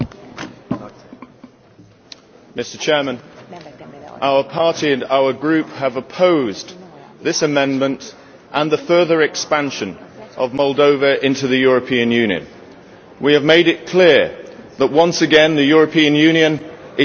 Mr President, our party and our group have opposed this amendment and the further expansion of Moldova into the European Union. We have made it clear that once again the European Union is acting like an aggressive colonialist.